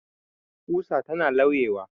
Ƙusa tana lauyuwa